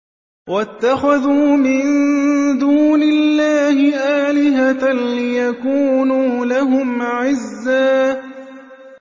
وَاتَّخَذُوا مِن دُونِ اللَّهِ آلِهَةً لِّيَكُونُوا لَهُمْ عِزًّا